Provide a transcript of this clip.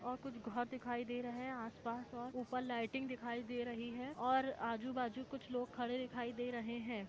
और कुछ घर दिखाई दे रहे है और आसपास और ऊपर लाइटिंग दिखाई दे रही है और आजू बाजू कुछ लोग खड़े दिखाई दे रहे है ।